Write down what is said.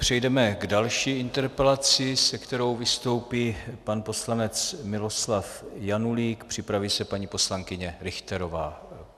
Přejdeme k další interpelaci, se kterou vystoupí pan poslanec Miloslav Janulík, připraví se paní poslankyně Richterová.